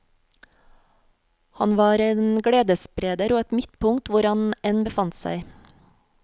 Han var en gledesspreder og et midtpunkt hvor han enn befant seg.